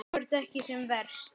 Þú ert ekki sem verst.